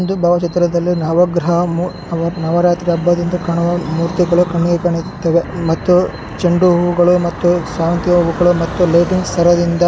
ನವಗ್ರಹ ಮೂ ನವರಾತ್ರಿ ಹಬ್ಬದಂದು ಕಾಣುವ ಮೂರ್ತಿಗಳು ಕಣ್ಣಿಗೆ ಕಾಣುತ್ತಿವೇ ಮತ್ತು ಚೆಂಡು ಹೂಗಳು ಮತ್ತು ಸೇವಂತಿಗೆ ಹೂಗಳು ಮತ್ತು ಲೈಟಿಂಗ್ಸ್ ಸಹಾಯದಿಂದ --